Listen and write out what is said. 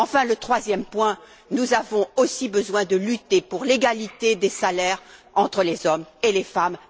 Enfin, troisième point nous avons aussi besoin de lutter pour l'égalité des salaires entre les hommes et les femmes.